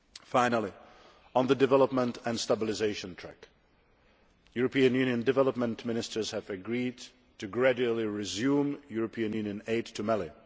Finally, on the development and stabilisation track European Union Development Ministers have agreed to gradually resume European Union aid to Mali.